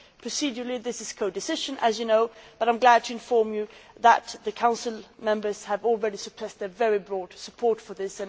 Procedurally, this is codecision as you know but I am glad to inform you that the Council members have already expressed their very broad support for this.